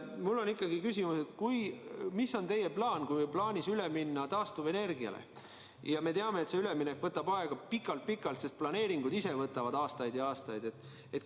Mul on ikkagi küsimus, et mis on teie plaan, kui on plaanis üle minna taastuvenergiale ja me teame, et see üleminek võtab pikalt-pikalt aega, sest planeeringud ise võtavad aastaid ja aastaid.